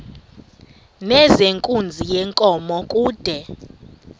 nezenkunzi yenkomo kude